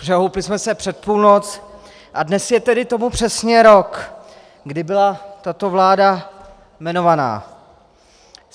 Přehoupli jsme se přes půlnoc a dnes je tedy tomu přesně rok, kdy byla tato vláda jmenována.